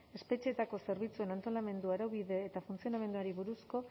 espetxeetako zerbitzuen antolamendu araubide eta funtzionamenduari buruzko